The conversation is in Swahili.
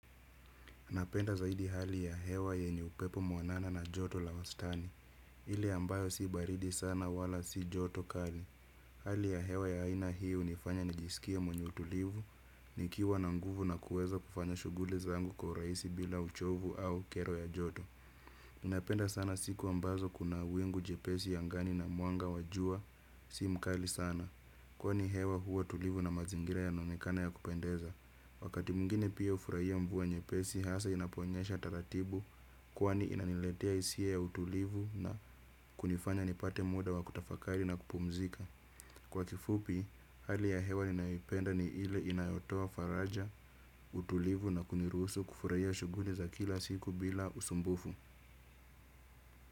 Anapenda zaidi hali ya hewa yenye upepo mwanana na joto la wastani. Ile ambayo si baridi sana wala si joto kali. Hali ya hewa ya haina hii unifanya nijisikie mwenye utulivu, nikiwa na nguvu na kuweza kufanya shughuli zangu kwa urahisi bila uchovu au kero ya joto. Ninapenda sana siku ambazo kuna wingu jepesi angani na mwanga wa jua. Si mkali sana kwani hewa huwa tulivu na mazingira yanaonekana ya kupendeza. Wakati mwingine pia hufuraia mvua nyepesi, haswa inaponyesha tatatibu, kwani inaniletea hisia za ya utulivu na kunifanya nipate muda wa kutafakari na kupumzika. Kwa kifupi, hali ya hewa ninayoipenda ni ile inayotoa faraja, utulivu na kuniruhusu kufurahia shughuli za kila siku bila usumbufu.